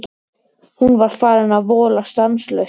Hún var farin að vola stanslaust.